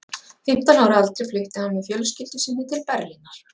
Fimmtán ára að aldri flutti hann með fjölskyldu sinni til Berlínar.